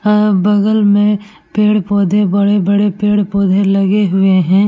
ह बगल में पेड़-पोधे बड़े-बड़े पेड़-पोधे लगे हुए हैं।